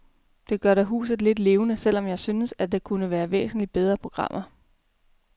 Det gør da huset lidt levende, selv om jeg synes, at der kunne være væsentlig bedre programmer.